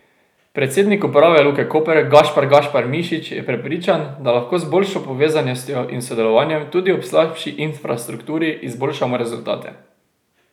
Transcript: Predsednik uprave Luke Koper Gašpar Gašpar Mišič je prepričan, da lahko z boljšo povezanostjo in sodelovanjem tudi ob slabši infrastrukturi izboljšamo rezultate.